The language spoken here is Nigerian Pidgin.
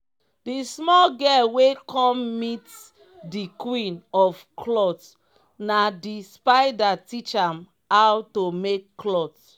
di small girl wey cum meat di queen of cloth na d spider teach am ow to make cloth.